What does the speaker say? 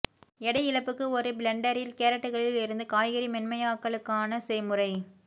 எடை இழப்புக்கு ஒரு பிளெண்டரில் கேரட்டுகளில் இருந்து காய்கறி மென்மையாக்கலுக்கான செய்முறை